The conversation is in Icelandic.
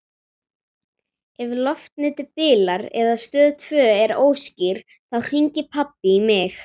Ef loftnetið bilar eða Stöð tvö er óskýr þá hringir pabbi í mig.